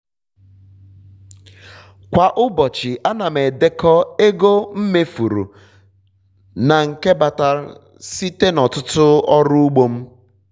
kwa ụbọchị ana m m edekọ ego mmefuru na uru batara site na ọtụtụ ọrụ ugbo m